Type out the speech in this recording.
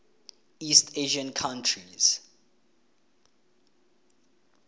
east asian countries